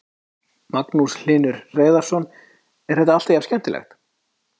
Magnús Hlynur Hreiðarsson: Er þetta alltaf jafn skemmtilegt?